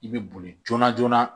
I bɛ boli joona joona